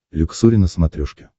люксори на смотрешке